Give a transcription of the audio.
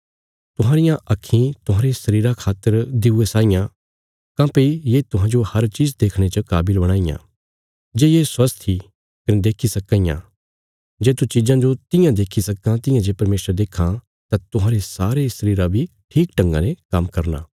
तुहांरियां आक्खीं तुहांरे शरीरा खातर दिऊए साई आं काँह्भई ये तुहांजो हर चीज़ देखणे च काविल बणां इयां जे ये स्वास्थ ईं कने देक्खी सक्कां इयां जे तू चिज़ां जो तियां देक्खी सक्कां तियां जे परमेशर देक्खां तां तुहांरे सारे शरीरा बी ठीक ढंगा ने काम्म करना